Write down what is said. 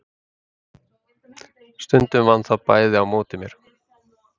Stundum vann það bæði á móti mér.